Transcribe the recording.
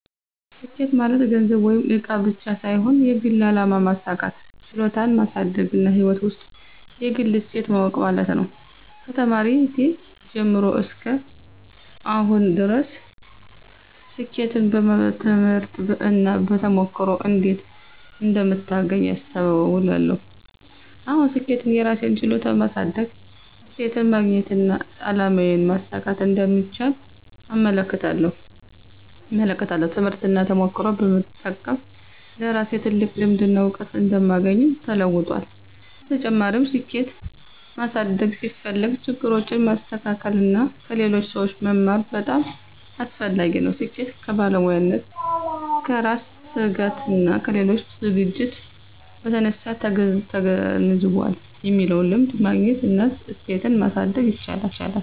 ስኬት ማለት ገንዘብ ወይም እቃ ብቻ ሳይሆን የግል አላማ ማሳካት፣ ችሎታን ማሳደግና ሕይወት ውስጥ የግል እሴት ማወቅ ማለት ነው። ከተማሪነቴ ጀምሮ እስከ አሁን ድረስ ስኬትን በትምህርት እና በተሞክሮ እንዴት እንደምታገኝ አስተውላለሁ። አሁን ስኬትን የራሴን ችሎታ ማሳደግ፣ እሴትን ማግኘትና አላማዬን ማሳካት እንደምቻል እመለከታለሁ። ትምህርትና ተሞክሮ በመጠቀም ለራሴ ትልቅ ልምድና እውቀት እንደማግኘው ተለውጧል። በተጨማሪም፣ ስኬት ማሳደግ ሲፈልግ ችግሮችን ማስተካከል እና ከሌሎች ሰዎች መማር በጣም አስፈላጊ ነው። ስኬት ከባለሙያነት፣ ከራስ ትጋትና ከሌሎች ዝግጅት በተነሳ ተገንዝቧል የሚለውን ልምድ ማግኘት እና እሴትን ማሳደግ ይቻላል።